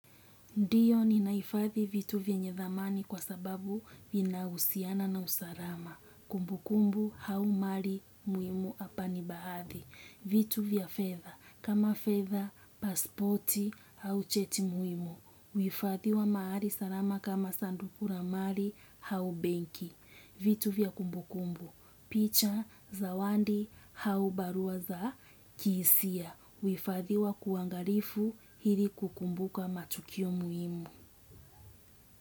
Ndiyo ninaifadhi vitu vyenye thamani kwa sababu vina husiana na usalama. Kumbu kumbu hau mari muhimu hapa ni baadhi. Vitu vya fedha, kama fedha, paspoti, hau cheti muhimu. Huifadhiwa mahari sarama kama sandukura mari hau benki. Vitu vya kumbu kumbu, picha, zawandi, hau barua za kihisia. Huifadhiwa kuangarifu hili kukumbuka matukio muhimu.